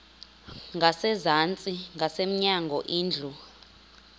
ngasezantsi ngasemnyango indlu